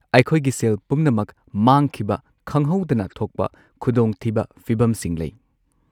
ꯑꯩꯈꯣꯏꯒꯤ ꯁꯦꯜ ꯄꯨꯝꯅꯃꯛ ꯃꯥꯡꯈꯤꯕ ꯈꯪꯍꯧꯗꯅ ꯊꯣꯛꯄ ꯈꯨꯗꯣꯡꯊꯤꯕ ꯐꯤꯕꯝꯁꯤꯡ ꯂꯩ꯫